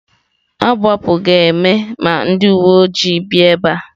Agbapụ ga-eme ma ndị uwe ojii bịa ebe a.